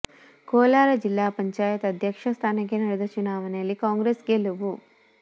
ಕೋಲಾರ ಜಿಲ್ಲಾ ಪಂಚಾಯತ್ ಅಧ್ಯಕ್ಷ ಸ್ಥಾನಕ್ಕೆ ನಡೆದ ಚುನಾವಣೆಯಲ್ಲಿ ಕಾಂಗ್ರೆಸ್ ಗೆಲುವು